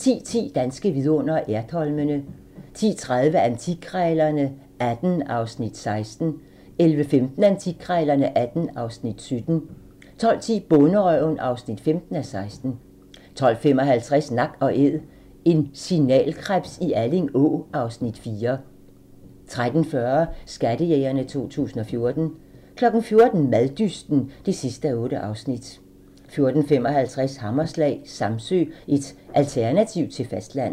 10:10: Danske vidundere: Ertholmene 10:30: Antikkrejlerne XVIII (Afs. 16) 11:15: Antikkrejlerne XVIII (Afs. 17) 12:10: Bonderøven (15:16) 12:55: Nak & Æd - en signalkrebs i Alling Å (Afs. 4) 13:40: Skattejægerne 2014 14:00: Maddysten (8:8) 14:55: Hammerslag - Samsø, et alternativ til fastlandet